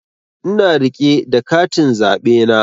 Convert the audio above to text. Ina rike da katin zaɓe na